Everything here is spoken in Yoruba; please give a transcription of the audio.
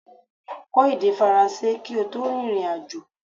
Kọ́ èdè faransé kí o tó rìnrìn àjò